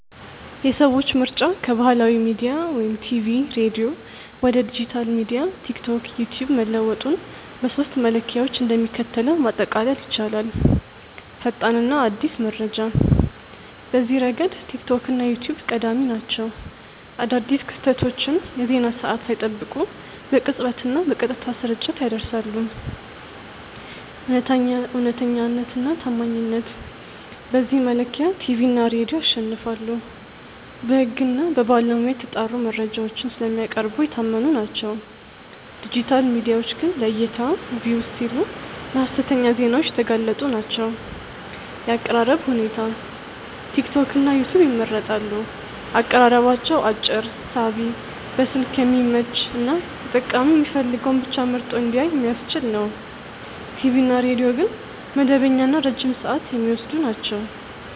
የሰዎች ምርጫ ከባህላዊ ሚዲያ (ቲቪ/ሬዲዮ) ወደ ዲጂታል ሚዲያ (ቲክቶክ/ዩትዩብ) መለወጡን በሦስቱ መለኪያዎች እንደሚከተለው ማጠቃለል ይቻላል፦ ፈጣንና አዲስ መረጃ፦ በዚህ ረገድ ቲክቶክ እና ዩትዩብ ቀዳሚ ናቸው። አዳዲስ ክስተቶችን የዜና ሰዓት ሳይጠብቁ በቅጽበትና በቀጥታ ስርጭት ያደርሳሉ። እውነተኛነትና ታማኝነት፦ በዚህ መለኪያ ቲቪ እና ሬዲዮ ያሸንፋሉ። በሕግና በባለሙያ የተጣሩ መረጃዎችን ስለሚያቀርቡ የታመኑ ናቸው፤ ዲጂታል ሚዲያዎች ግን ለዕይታ (Views) ሲሉ ለሀሰተኛ ዜናዎች የተጋለጡ ናቸው። የአቀራረብ ሁኔታ፦ ቲክቶክና ዩትዩብ ይመረጣሉ። አቀራረባቸው አጭር፣ ሳቢ፣ በስልክ የሚመች እና ተጠቃሚው የሚፈልገውን ብቻ መርጦ እንዲያይ የሚያስችል ነው። ቲቪ እና ሬዲዮ ግን መደበኛና ረጅም ሰዓት የሚወስዱ ናቸው።